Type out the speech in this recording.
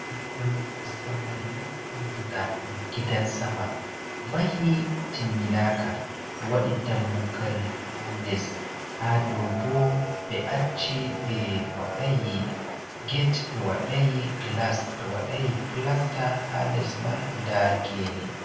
Mahol zamanu andira ɗum gidan sama, mahi timminaka, ɓe waɗi dammugal ha les ha dou ɓe acci ɓe waɗai get, ɓe waɗai gilas, ɓe waɗai pilasta, ha les mai nda gene.